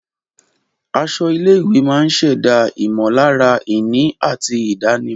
Aṣọ ilé-ìwé máa ń ṣẹ̀dá ìmọ̀lára ìní àti ìdánimọ̀.